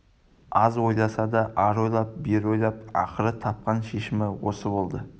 аз ойласа да ары ойлап бері ойлап ақыры тапқан шешімі осы болды